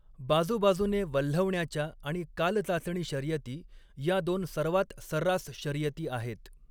बाजूबाजूने वल्हवण्याच्या आणि कालचाचणी शर्यती, या दोन सर्वात सर्रास शर्यती आहेत.